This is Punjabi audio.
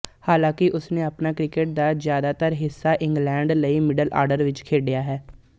ਹਾਲਾਂਕਿ ਉਸਨੇ ਆਪਣੇ ਕ੍ਰਿਕਟ ਦਾ ਜ਼ਿਆਦਾਤਰ ਹਿੱਸਾ ਇੰਗਲੈਂਡ ਲਈ ਮਿਡਲ ਆਰਡਰ ਵਿੱਚ ਖੇਡਿਆ ਹੈ